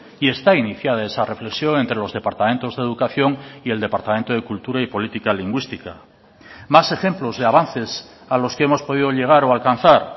y está iniciada esa reflexión entre los departamentos de educación y el departamento de cultura y política lingüística más ejemplos de avances a los que hemos podido llegar o alcanzar